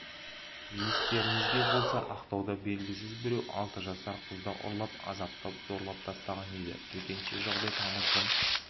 естеріңізге болса ақтауда белгісіз біреу алты жасар қызды ұрлап азаптап зорлап тастаған еді төтенше жағдай тамыздың